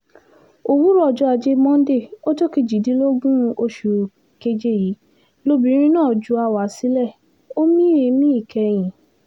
òwúrọ̀ ọjọ́ ajé monde ọjọ́ kejìdínlógún oṣù keje yìí lobìnrin náà ju àwa sílẹ̀ ó mí èémí ìkẹyìn